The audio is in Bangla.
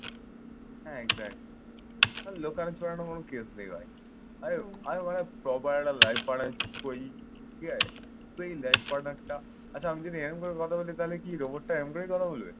হ্যাঁ exactly আর লুকানো ছড়ানো কোন case নেই ভাই। আরে আরে আগে proper একটা life partner choose করে নিই। ঠিক আছে? তুই life partner টা আচ্ছা আমি যদি এইরকম করে কথা বলি তাহলে কি রোবটটা এইরকম করেই কথা বলবে?